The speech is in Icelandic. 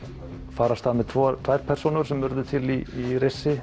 fara af stað með tvær tvær persónur sem urðu til í